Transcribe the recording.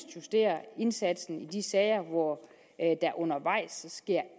justere indsatsen i de sager hvor der undervejs sker